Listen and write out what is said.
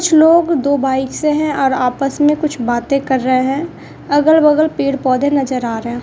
कुछ लोग दो बाइक से हैं और आपस में कुछ बाते कर रहे हैं अगल-बगल पेड़-पौधे नजर आ रहें --